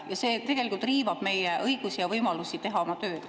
Ja see tegelikult riivab meie õigusi ja võimalust teha oma tööd.